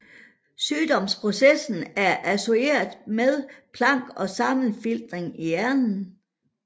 Sygdomsprocessen er associeret med plak og sammenfiltringer i hjernen